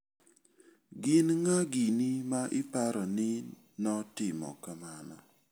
Gin ng'a gini ma iparo ni notimo kamano?